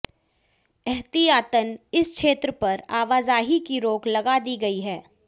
एहतियातन इस क्षेत्र पर आवाजाही की रोक लगा दी गई है